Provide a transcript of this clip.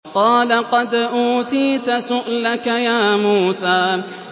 قَالَ قَدْ أُوتِيتَ سُؤْلَكَ يَا مُوسَىٰ